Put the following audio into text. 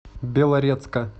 белорецка